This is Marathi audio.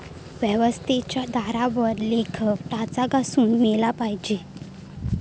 व्यवस्थेच्या दारावर लेखक टाचा घासून मेला पाहिजे.